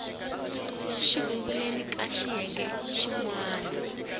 sunguleni ka xiyenge xin wana